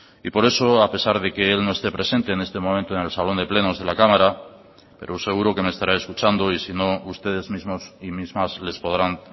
y por eso a pesar de que él no esté presente en este momento en el salón de plenos de la cámara pero seguro que me estará escuchando y sino ustedes mismos y mismas les podrán